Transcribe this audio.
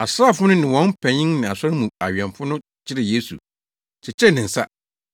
Asraafo no ne wɔn panyin ne asɔredan mu awɛmfo no kyeree Yesu, kyekyeree ne nsa,